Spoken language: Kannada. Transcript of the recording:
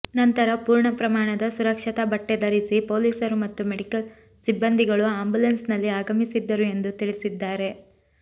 ನಂತರ ಪೂರ್ಣ ಪ್ರಮಾಣದ ಸುರಕ್ಷತಾ ಬಟ್ಟೆ ಧರಿಸಿ ಪೊಲೀಸರು ಮತ್ತು ಮೆಡಿಕಲ್ ಸಿಬ್ಬಂದಿಗಳು ಆಂಬುಲೆನ್ಸ್ ನಲ್ಲಿ ಆಗಮಿಸಿದ್ದರು ಎಂದು ತಿಳಿಸಿದ್ದಾರೆ